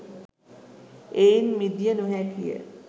එයින් මිදිය නොහැකි ය.